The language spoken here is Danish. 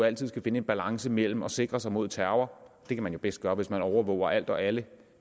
altid skal finde en balance mellem at sikre sig mod terror det kan man jo bedst gøre hvis man overvåger alt og alle